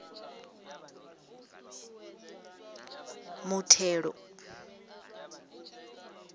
muthelo